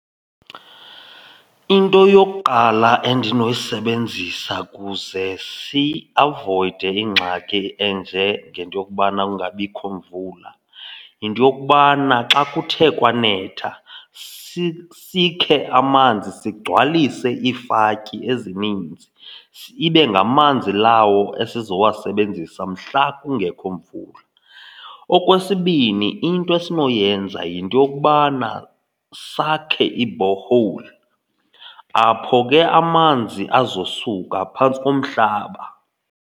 Into yokuqala endinoyisebenzisa kuze siavoyide ingxaki enjengento yokubana kungabikho imvula yinto yokubana xa kuthe kwanetha sikhe amanzi sigcwalise iifatyi ezininzi, ibe ngamanzi lawo esizowasebenzisa mhla kungekho imvula. Okwesibini, into esinoyenza yinto yokubana sakhe i-borehole, apho ke amanzi azosuka phantsi komhlaba.